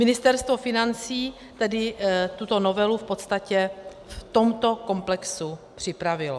Ministerstvo financí tedy tuto novelu v podstatě v tomto komplexu připravilo.